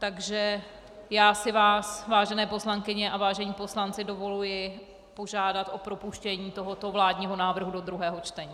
Takže já si vás, vážené poslankyně a vážení poslanci, dovoluji požádat o propuštění tohoto vládního návrhu do druhého čtení.